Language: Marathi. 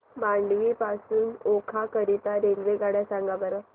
मांडवी पासून ओखा करीता रेल्वेगाड्या सांगा बरं